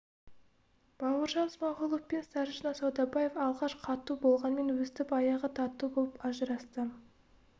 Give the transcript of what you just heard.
бауыржан смағұлов пен старшина саудабаев алғаш қату болғанмен өстіп аяғы тату болып ажырасты